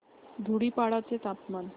धुडीपाडा चे तापमान